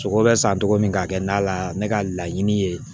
Sogo bɛ san cogo min ka kɛ nan la ne ka laɲini ye